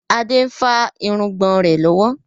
Adé ń fa irùngbọ̀n rẹ lọ́wọ́.